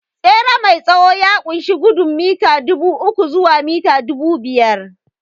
Tsere mai tsawo ya ƙunshi gudun mita dubu uku zuwa mita dubu biyar